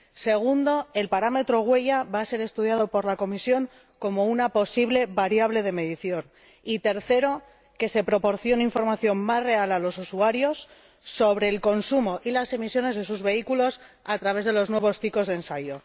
Segundo el parámetro huella va a ser estudiado por la Comisión como una posible variable de medición, y Tercero se proporciona información más real a los usuarios sobre el consumo y las emisiones de sus vehículos a través de los nuevos tipos de ensayo.